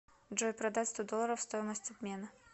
джой продать сто долларов стоимость обмена